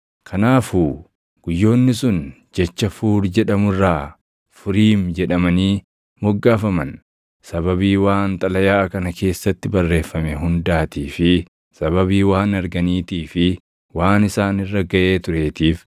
Kanaafuu guyyoonni sun jecha Fuur jedhamu irraa Furiim jedhamanii moggaafaman. Sababii waan xalayaa kana keessatti barreeffame hundaatii fi sababii waan arganiitii fi waan isaan irra gaʼee tureetiif,